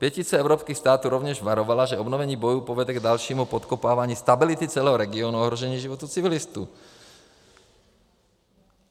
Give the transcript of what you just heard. Pětice evropských států rovněž varovala, že obnovení bojů povede k dalšímu podkopávání stability celého regionu a ohrožení životů civilistů.